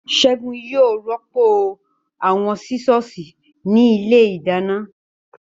Ségun yóò rọ́pò àwọn Sísọ̀sì ní ilé ìdáná